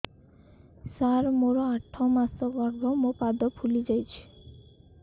ସାର ମୋର ଆଠ ମାସ ଗର୍ଭ ମୋ ପାଦ ଫୁଲିଯାଉଛି